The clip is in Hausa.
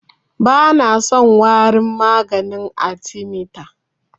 Bana son warin maganin arthemeter.